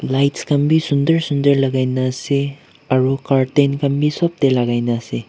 lights khan bi sunder sunder lakaina ase aro curtain khan bi sop tae lakaina ase.